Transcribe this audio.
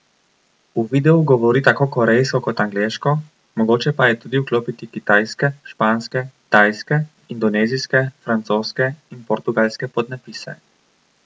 V videu govori tako korejsko kot angleško, mogoče pa je tudi vklopiti kitajske, španske, tajske, indonezijske, francoske in portugalske podnapise.